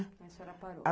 Aí a senhora parou.